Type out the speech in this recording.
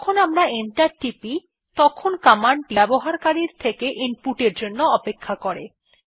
যখন আমরা এন্টার টিপি তখন কমান্ড টি ব্যবহারকারীর থেকে ইনপুটের জন্য অপেক্ষা করে